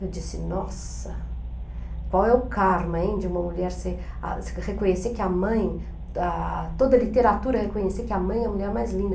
Eu disse, nossa, qual é o karma em de uma mulher ser, a reconhecer que a mãe, a toda a literatura reconhecer que a mãe é a mulher mais linda.